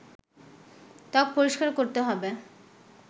ত্বক পরিষ্কার করতে হবে